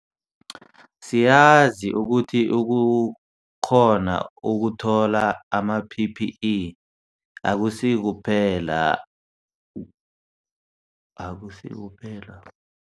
Siyazi ukuthi ukukghona ukuthola ama-PPE akusikuphela akusikuphela